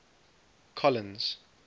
collins